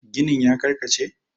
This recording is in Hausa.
ginin ya karkace?